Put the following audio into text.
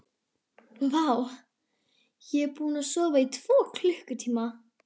Vá, ég er búinn að sofa í tvo klukkutíma.